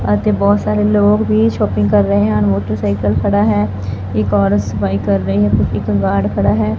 ਅਤੇ ਬਹੁਤ ਸਾਰੇ ਲੋਗ ਵੀ ਸ਼ੌਪਿੰਗ ਕਰ ਰਹੇ ਹਨ ਮੋਟਰ ਸਾਈਕਲ ਖੜ੍ਹਾ ਹੈ ਇੱਕ ਔਰਤ ਸਫ਼ਾਈ ਕਰ ਰਹੀ ਹੈ ਇੱਕ ਗਾਰਡ ਖੜ੍ਹਾ ਹੈ।